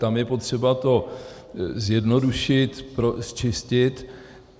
Tam je potřeba to zjednodušit, pročistit.